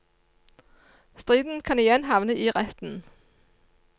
Striden kan igjen havne i retten.